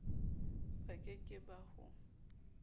ba ke ke ba ho